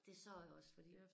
Det sagde jeg også fordi